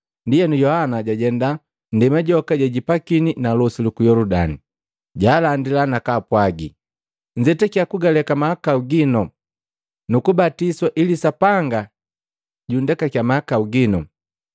Ndienu, Yohana jajenda nndema joka jejipakini na losi luku Yoludani. Jaalandila nakapwagi, “Nzetakya kugaleka mahakau ginu nu kubatiswa ili Sapanga jundekakya mahakau gino.”